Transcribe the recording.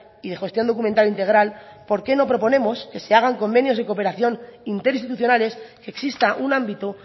y de gestión documental integral por qué no proponemos que se hagan convenios de cooperación interinstitucionales que exista un ámbito